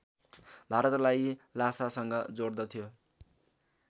भारतलाई ल्हासासँग जोडदथ्यो